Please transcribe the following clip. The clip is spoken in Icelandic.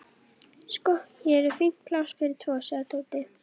Sko, hér er fínt pláss fyrir tvo sagði Tóti.